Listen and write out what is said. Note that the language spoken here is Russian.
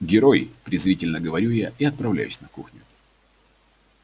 герой презрительно говорю я и отправляюсь на кухню